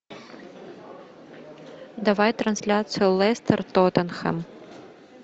давай трансляцию лестер тоттенхэм